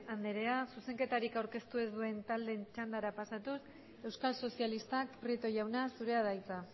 andrea zuzenketariak aurkeztu ez duen taldeen txandara pasatuz euskal sozialistak prieto jauna zurea da hitza